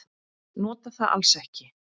Nota það alls ekki.